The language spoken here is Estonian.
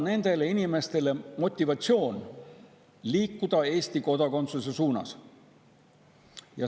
Nendele inimestele tuleb anda motivatsioon liikuda Eesti kodakondsuse suunas.